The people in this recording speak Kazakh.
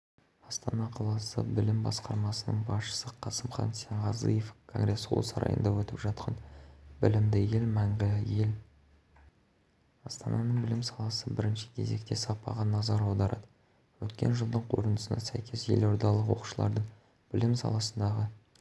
астана қаласы білім басқармасының басшысы қасымхан сенғазыев конгресс-холл сарайында өтіп жатқан білімді ел мәңгі ел